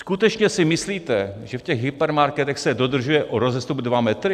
Skutečně si myslíte, že v těch hypermarketech se dodržuje rozestup dva metry?